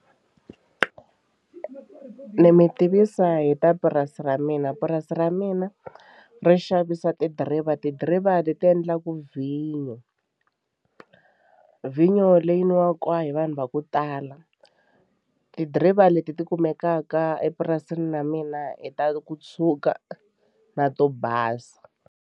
Ni mi tivisa hi ta purasi ra mina purasi ra mina ri xavisa tidiriva tidiriva leti endlaka vhinyo, vhinyo leyi nwiwaka hi vanhu va ku tala tidiriva leti ti kumekaka epurasini na mina hi ta ku tshuka na to basa.